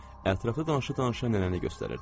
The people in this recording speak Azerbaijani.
Ətrafda danışa-danışa nənəni göstərirdilər.